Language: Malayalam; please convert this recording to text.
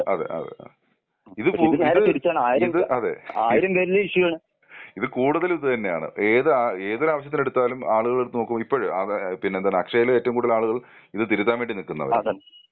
അതെ അതെ അതേ അതെ ഇത് പൂ ഇത് ഇത് അതെ. ഇത് കൂടുതൽ ഇതുതന്നെയാണ് ഏത് ഏതൊരു ആവശ്യത്തിന് എടുത്താലും ആളുകളെ എടുത്തു നോക്കൂ ഇപ്പഴ് ആ വേ പിന്നെ എന്താണ് അക്ഷയിലെ ഏറ്റവും കൂടുതൽ ആളുകൾ ഇത് തിരുത്താൻ വേണ്ടി നിൽക്കുന്നവരാ.